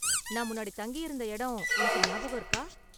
நான் முன்னாடி தங்கி இருந்த இடம் உனக்கு ஞாபகம் இருக்கா?